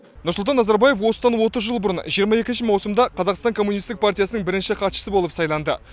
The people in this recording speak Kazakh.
нұрсұлтан назарбаев осыдан отыз жыл бұрын жиырма екінші маусымда қазақстан коммунистік партиясының бірінші хатшысы болып сайланды